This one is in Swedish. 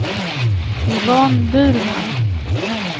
Yvonne Burman